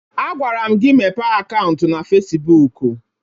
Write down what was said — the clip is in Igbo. Agwara m gị mepee akaụntụ na Fesibuuku!